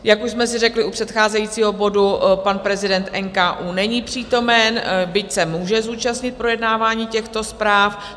Jak už jsme si řekli u předcházejícího bodu, pan prezident NKÚ není přítomen, byť se může zúčastnit projednávání těchto zpráv.